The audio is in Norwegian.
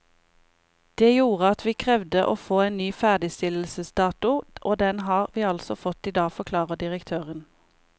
Det gjorde at vi krevde å få en ny ferdigstillelsesdato, og den har vi altså fått i dag, forklarer direktøren.